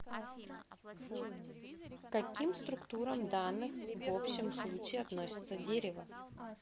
к каким структурам данных в общем случае относится дерево